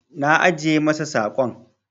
Na ajiye masa saƙon.